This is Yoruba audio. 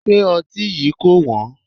Ṣé ọtí yí kò wón?